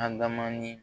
Adama ni